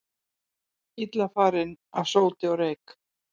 Illa farin af sóti og reyk